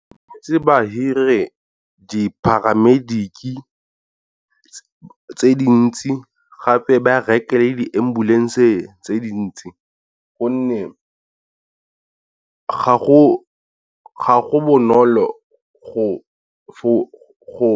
Tshwanetse ba hire di-paramedic tse dintsi gape ba reke le di ambulance le tse dintsi, gonne ga go bonolo go go